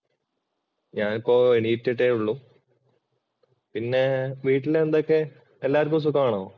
ഞാനിപ്പോ എണ്ണീറ്റിട്ടേ ഉള്ളൂ. പിന്നെ വീട്ടിൽ എന്ത് ഒക്കെ എല്ലാവർക്കും സുഖമാണോ?